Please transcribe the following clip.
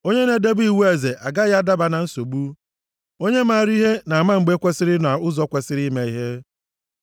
Onye na-edebe iwu eze agaghị adaba na nsogbu. Onye maara ihe na-ama mgbe kwesiri na ụzọ kwesiri ime ihe.